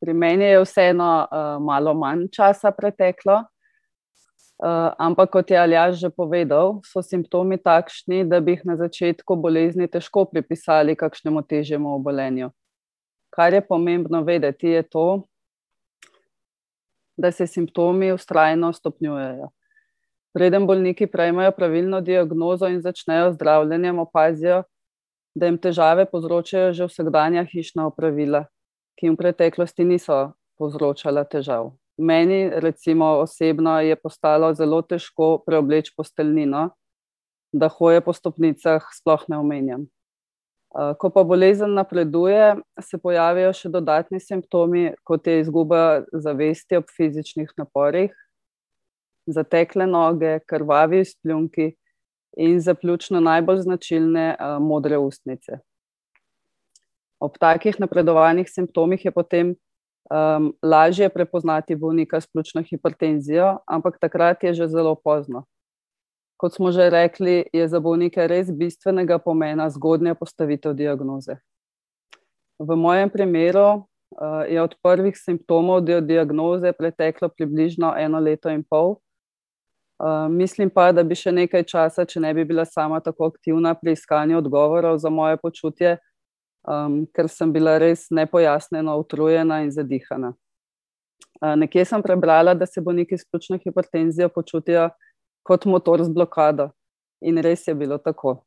Pri meni je vseeno, malo manj časa preteklo. ampak, kot je Aljaž že povedal, so simptomi takšni, da bi jih na začetku bolezni težko pripisali kakšnemu težjemu obolenju. Kar je pomembno vedeti, je to , da se simptomi vztrajno stopnjujejo. Preden bolniki prejmejo pravilno diagnozo in začnejo z zdravljenjem, opazijo, da jim težave povzročajo že vsakdanja hišna opravila, ki jim v preteklosti niso povzročala težav. Meni, recimo, osebno je postalo zelo težko preobleči posteljnino, da hoje po stopnicah sploh ne omenjam. ko pa bolezen napreduje, se pojavijo še dodatni simptomi, kot je izguba zavesti ob fizičnih naporih. Zatekle noge, krvavi izpljunki. In za pljučno najbolj značilne, modre ustnice. Ob takih napredovanih simptomih je potem, lažje prepoznati bolnika s pljučno hipertenzijo, ampak takrat je že zelo pozno. Kot smo že rekli, je za bolnike res bistvenega pomena zgodnja postavitev diagnoze. V mojem primeru, je od prvih simptomov do diagnoze preteklo približno eno leto in pol. mislim pa, da bi še nekaj časa, če ne bi bila sama tako aktivna pri iskanju odgovorov za moje počutje, ker sem bila res nepojasnjeno utrujena in zadihana. nekje sem prebrala, da se bolniki s pljučno hipertenzijo počutijo kot motor z blokado. In res je bilo tako.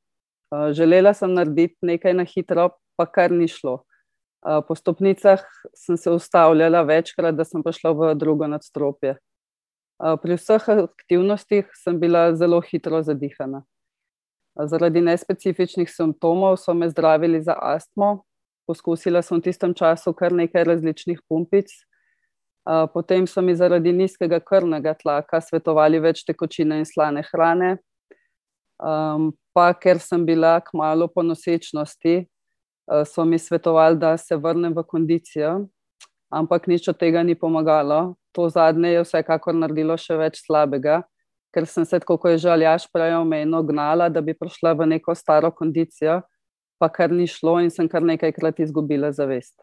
želela sem narediti nekaj na hitro, pa kar ni šlo. po stopnicah sem se ustavljala večkrat, da sem prišla v drugo nadstropje. pri vseh aktivnostih sem bila zelo hitro zadihana. zaradi nespecifičnih simptomov so me zdravili za astmo. Poskusila sem v tistem času kar nekaj različnih pumpic. potem so mi zaradi nizkega krvnega tlaka svetovali več tekočine in slane hrane. pa ker sem bila kmalu po nosečnosti, so mi svetovali, da se vrnem v kondicijo. Ampak nič od tega ni pomagalo. To zadnje je vsekakor naredilo še več slabega. Ker sem se tako, ko je že Aljaž prej omenil, gnala, da bi prišla v neko staro kondicijo. Pa kar ni šlo in sem kar nekajkrat izgubila zavest.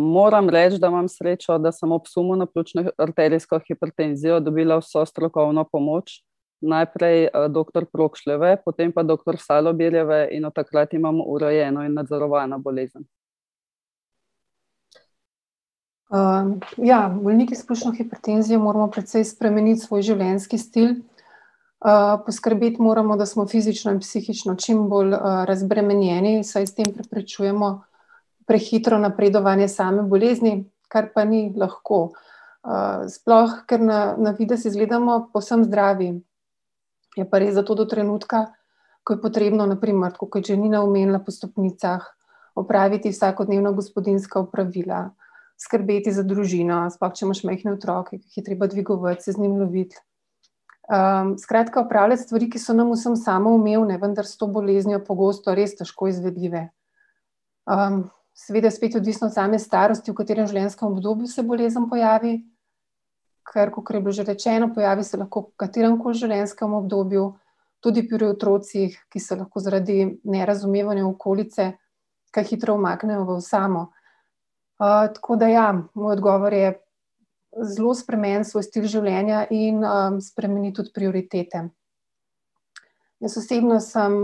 moram reči, da imam srečo, da sem ob sumu na pljučno arterijsko hipertenzijo dobila vso strokovno pomoč, najprej, doktor Prokšljeve potem pa doktor Salobirjeve in od takrat imam urejeno in nadzorovano bolezen. ja bolniki s pljučno hipertenzijo moramo precej spremeniti svoj življenjski stil. poskrbeti moramo, da smo fizično in psihično čim bolj, razbremenjeni, saj s tem preprečujemo prehitro napredovanje same bolezni, kar pa ni lahko. sploh ker na, na videz izgledamo povsem zdravi. Je pa res, da to do trenutka, ko je potrebno, na primer, tako kot je že Nina omenila po stopnicah, opraviti vsakodnevna gospodinjska opravila, skrbeti za družino, sploh, če imaš majhne otroke, ki jih je treba dvigovati, se z njim loviti. skratka opravljati stvari, ki so nam vsem samoumevne, vendar s to boleznijo pogosto res težko izvedljive. seveda je spet odvisno od same starosti, v katerem življenjskem obdobju se bolezen pojavi, kar, kakor je bilo že rečeno, pojavi se lahko v kateremkoli življenjskem obdobju. Tudi pri otrocih, ki se lahko zaradi nerazumevanja okolice kaj hitro umaknejo v osamo. tako da, ja. Moj odgovor je: zelo spremeni svoj stil življenja in, spremeni tudi prioritete. Jaz osebno sem,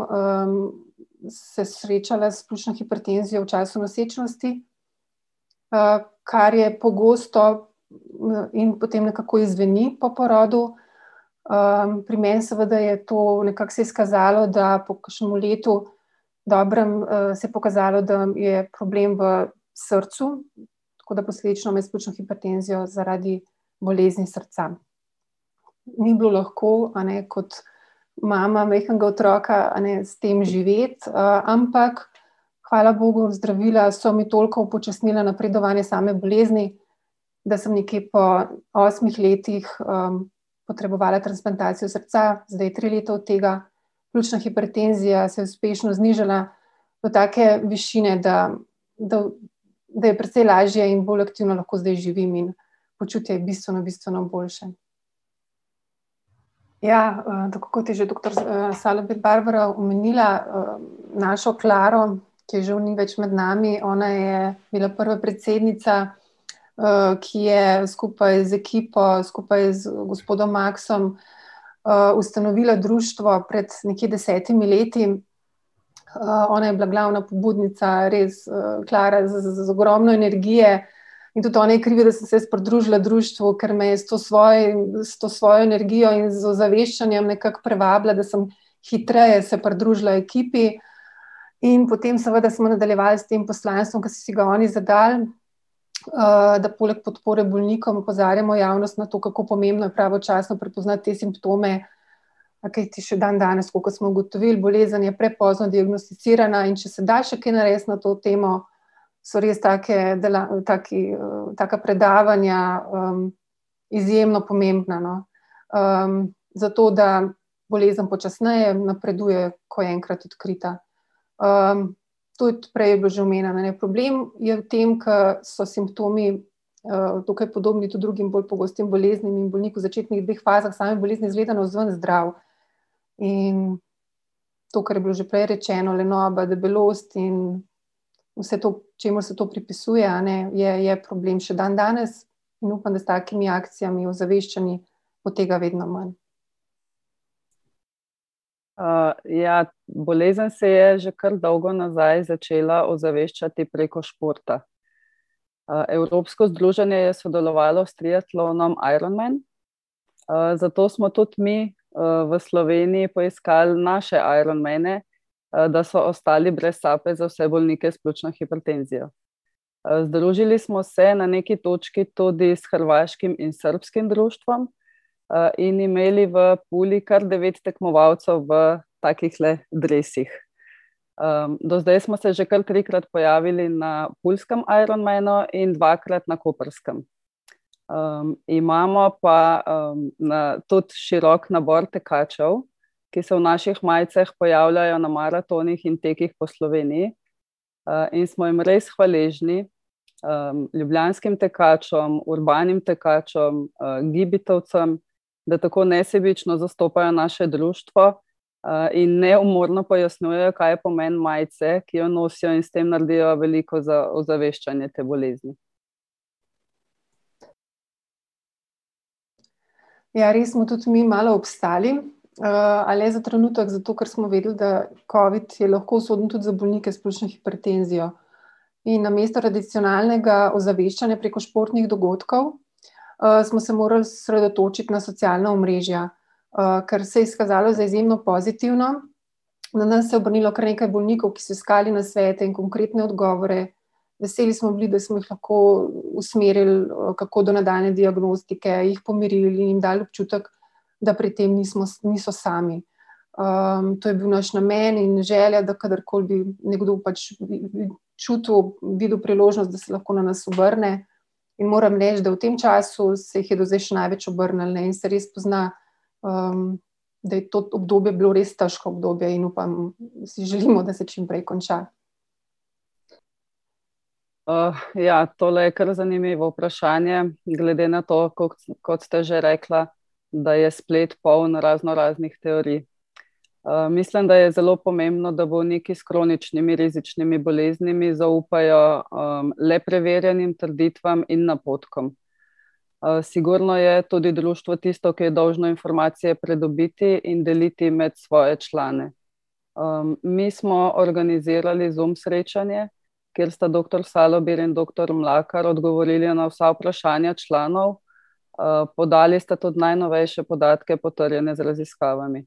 se srečala s pljučno hipertenzijo v času nosečnosti. kar je pogosto in potem nekako izzveni po porodu. pri meni seveda je to nekako se izkazalo, da po kakšnem letu dobrem, se je pokazalo, da je problem v srcu. Tako da posledično imam jaz s pljučno hipertenzijo zaradi bolezni srca. Ni bilo lahko, a ne, kot mama majhnega otroka, a ne, s tem živeti, ampak hvala bogu, zdravila so mi toliko upočasnila napredovanje same bolezni, da sem nekje pol osmih letih, potrebovala transplantacijo srca. Zdaj je tri leta od tega, pljučna hipertenzija se je uspešno znižala do take višine, da, da, da je precej lažje in bolj aktivno lahko zdaj živim in počutje je bistveno, bistveno boljše. Ja, tako kot je že doktor, Salobir Barbara omenila, našo Klaro, ki je žal ni več med nami. Ona je bila prva predsednica , ki je skupaj z ekipo skupaj z gospodom Maksom ustanovila društvo pred nekje desetimi leti, ona je bila glavna pobudnica, res, Klara z ogromno energije. In tudi ona je kriva, da sem se jaz pridružila društvu, ker me je s to svojo, s to svojo energijo in z ozaveščenjem nekako privabila, da sem hitreje se pridružila ekipi. In potem seveda smo nadaljevali s tem poslanstvom, ke so si ga oni zadali, da poleg podpore bolnikom, opozarjamo javnost na to, kako pomembno je pravočasno prepoznati te simptome, kajti jih še dandanes, tako kot smo ugotovili, bolezen je prepozno diagnosticirana, in če se da še kaj narediti na to temo, so res take taki, taka predavanja, izjemno pomembna, no. zato, da bolezen počasneje napreduje, ko je enkrat odkrita. tudi prej je bilo že omenjeno, a ne. Problem je v tem, ker so simptomi, dokaj podobni tudi drugim bolj pogostim boleznim in bolnik v začetnih dveh fazah same bolezni izgleda navzven zdrav. In to, kar je bilo že prej rečeno, lenoba, debelost in vse to, čemur se to pripisuje, a ne, je, je problem še dandanes. In upam, da s takimi akcijami, ozaveščanji bo tega vedno manj. ja, bolezen se je že kar dolgo nazaj začela ozaveščati preko športa. Evropsko združenje je sodelovalo s triatlonom Ironman. zato smo tudi mi, v Sloveniji poiskali naše ironmane, da so ostali brez sape za vse bolnike s pljučno hipertenzijo. združili smo se na neki točki tudi s hrvaškim in srbskim društvom, in imeli v Puli kar devet tekmovalcev v takihle dresih. do zdaj smo se že kar trikrat pojavili na puljskem Ironmanu in dvakrat na koprskem. imamo pa, tudi širok nabor tekačev, ki se v naših majicah pojavljajo na maratonih in tekih po Sloveniji, in smo jim res hvaležni, ljubljanskim tekačem, urbanim tekačem, gibitovcem, da tako nesebično zastopajo naše društvo, in neumorno pojasnjujejo, kaj je pomen majice, ki jo nosijo, in s tem naredijo veliko za ozaveščanje te bolezni. Ja, res smo tudi mi malo obstali. a le za trenutek, zato ker smo vedeli, da covid je lahko usoden tudi za bolnike s pljučno hipertenzijo. In namesto tradicionalnega ozaveščanja preko športnih dogodkov, smo se morali osredotočiti na socialna omrežja, kar se je izkazalo za izjemno pozitivno. Na nas se je obrnilo kar nekaj bolnikov, ki so iskali nasvete in konkretne odgovore. Veseli smo bili, da smo jih lahko usmerili, kako do nadaljnje diagnostike, jih pomirili, jim dali občutek, da pri tem nismo, niso sami. to je bil naš namen in želja, da kdorkoli bi nekdo pač čutil, videl priložnost, da se lahko na nas obrne. In moram reči, da v tem času se jih je do zdaj še največ obrnilo in se res pozna, da je to obdobje bilo res težko obdobje in upam, si želimo, da se čimprej konča. ja, tole je kar zanimivo vprašanje glede na to, kot ste že rekla, da je splet poln raznoraznih teorij. mislim, da je zelo pomembno, da bolniki s kroničnimi, rizičnimi boleznimi zaupajo, le preverjenim trditvam in napotkom. sigurno je tudi društvo tisto, ki je dolžno informacije pridobiti in deliti med svoje člane. mi smo organizirali Zoom srečanje, kjer sta doktor Salobir in doktor Mlakar odgovorili na vsa vprašanja članov, podali sta tudi najnovejše podatke, potrjene z raziskavami.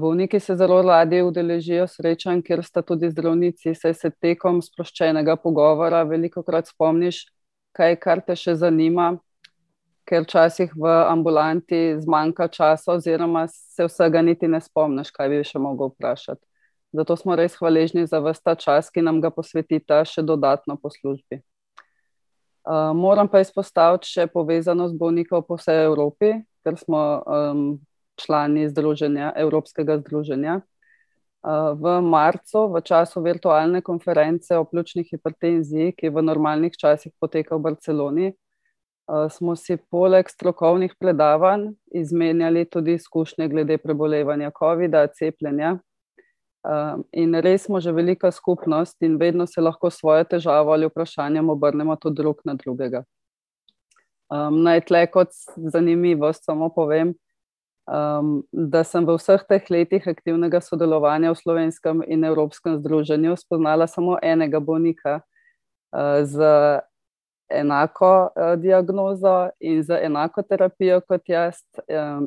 bolniki se zelo radi udeležijo srečanj, ker sta tudi zdravnici, saj se tekom sproščenega pogovora velikokrat spomniš kaj, kar te še zanima. Ker včasih v ambulanti zmanjka časa oziroma se vsega niti ne spomniš, kaj bi še mogel vprašati. Zato smo res hvaležni za vas ta čas, ki nam ga posvetita še dodatno po službi. moram pa izpostaviti še povezanost bolnikov po vsej Evropi, ker smo, člani združenja, evropskega združenja, v marcu, v času virtualne konference o pljučni hipertenziji, ki v normalnih časih poteka v Barceloni, smo si poleg strokovnih predavanj izmenjali tudi izkušnje glede prebolevanja covida, cepljenja, in res smo že velika skupnost in vedno se lahko s svojo težavo ali vprašanjem obrnemo tudi drug na drugega. naj tule kot zanimivost samo povem, da sem v vseh teh letih aktivnega sodelovanja v slovenskem in evropskem združenju spoznala samo enega bolnika, z enako, diagnozo in z enako terapijo kot jaz,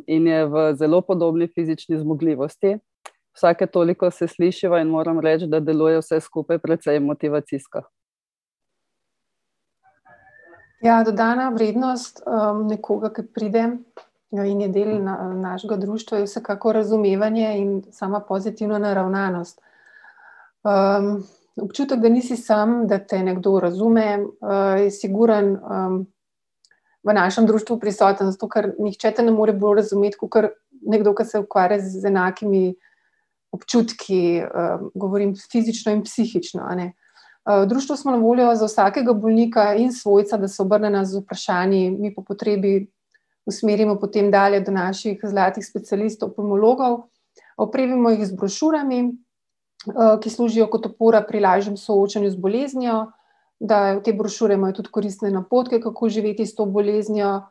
in je v zelo podobni fizični zmogljivosti, vsake toliko se slišiva in moram reči, da deluje vse skupaj precej motivacijsko. Ja, dodana vrednost, nekoga, ke pride, no, in je del našega društva, je vsekakor razumevanje in sama pozitivna naravnanost. občutek, da nisi samo, da te nekdo razume, je sigurno, v našem društvu prisoten, zato ker, nihče te ne more bolj razumeti kakor nekdo, ki se ukvarja z enakimi občutki, govorim fizično in psihično, a ne. v društvu smo na voljo za vsakega bolnika in svojca, da se obrne na nas z vprašanji, mi po potrebi usmerimo potem dalje do naših zlatih specialistov, pulmologov. Opremimo jih z brošurami, ki služijo kot opora pri lažjem soočanju z boleznijo, da ... Te brošure imajo tudi koristne napotke, kako živeti s to boleznijo.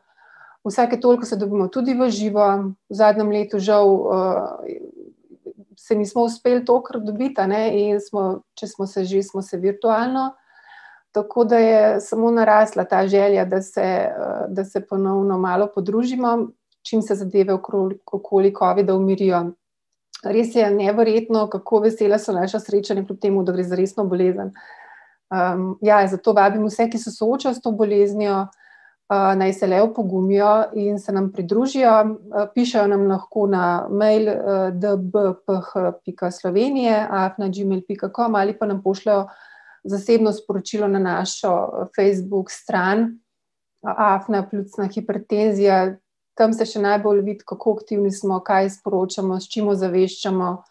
Vsake toliko se dobimo tudi v živo, v zadnjem letu žal se nismo uspeli tokrat dobiti, a ne, in smo, če smo se že, smo se virtualno. Tako da je samo narasla ta želja, da se, da se ponovno malo podružimo, čim se zadeve okoli covida umirijo. Res je neverjetno, kako vesela so naša srečanja proti temu, da gre za resno bolezen. ja, zato vabim vse, ki se soočajo s to boleznijo, naj se le opogumijo in se nam pridružijo. pišejo nam lahko na mejl, dbph pika Slovenije afna gmail pika com ali pa nam pošljejo zasebno sporočilo na našo Facebook stran afna pljučna hipertenzija. Tam se še najbolj vidi, kako aktivni smo, kaj sporočamo, s čim ozaveščamo.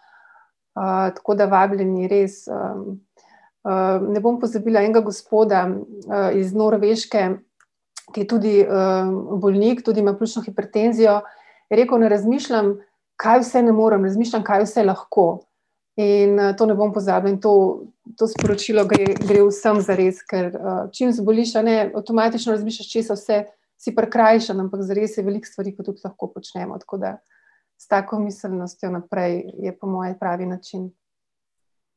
tako da vabljeni res, ne bom pozabila enega gospoda, iz Norveške, ki je tudi, bolnik, tudi ima pljučno hipertenzijo. Je rekel: "Ne razmišljam, kaj vse ne morem, razmišljam, kaj vse lahko." In, to ne bom pozabila in to, to sporočilo gre, gre vsem zares, ker, čim zboliš, a ne, avtomatično razmišljaš, česa vse si prikrajšan, ampak zares je veliko stvari, ko tudi lahko počnemo, tako da s tako miselnostjo naprej je po moje pravi način.